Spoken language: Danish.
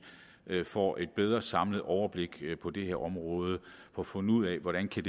får et bedre samlet overblik på det her område og får fundet ud af hvordan det